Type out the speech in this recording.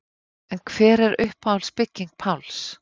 En hver er uppáhalds bygging Páls?